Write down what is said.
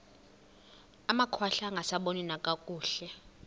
amakhwahla angasaboni nakakuhle